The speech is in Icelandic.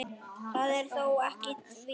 Það er þó ekki víst.